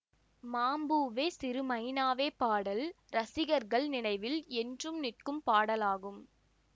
மாம்பூவே சிறு மைனாவே பாடல் ரசிகர்கள் நினைவில் என்றும் நிற்கும் பாடலாகும்